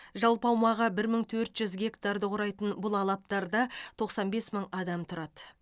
жалпы аумағы бір мың төрт жүз гектарды құрайтын бұл алаптарда тоқсан бес мың адам тұрады